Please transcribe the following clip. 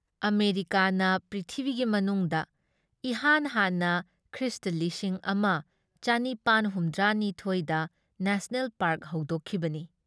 ꯑꯃꯦꯔꯤꯀꯥꯅ ꯄ꯭ꯔꯤꯊꯤꯕꯤꯒꯤ ꯃꯅꯨꯡꯗ ꯏꯍꯥꯟ ꯍꯥꯟꯅ ꯈ꯭ꯔꯤꯁ ꯂꯤꯁꯤꯡ ꯑꯃ ꯆꯅꯤꯄꯥꯟ ꯍꯨꯝꯗ꯭ꯔꯥ ꯅꯤꯊꯣꯏꯗ ꯅꯦꯁꯅꯦꯜ ꯄꯥꯔꯛ ꯍꯧꯗꯣꯛꯈꯤꯕꯅꯤ ꯫